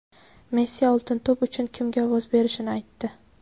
Messi "Oltin to‘p" uchun kimga ovoz berishini aytdi.